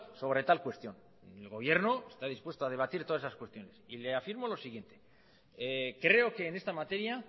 sobre tal cuestión el gobierno está dispuesto ha debatir todas esas cuestiones y le afirmo lo siguiente creo que en esta materia